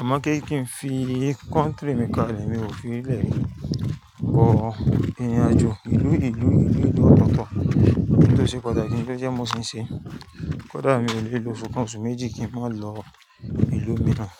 àmọ́ kí kí n fi kọ́ńtìrì mi kalẹ̀ mi ò fi lè lọ ìrìnàjò ìlú ìlú ìlú ìlú ototo Kí ó sì padà kí n tó jẹ́ mó ṣì ń ṣe. Kódà mi ò lè lo ọsu kan osu méjì kí n má lọ ìlú mìíràn.